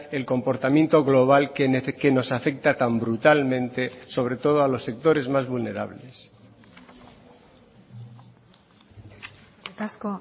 el comportamiento global que nos afecta tan brutalmente sobre todo a los sectores más vulnerables eskerrik asko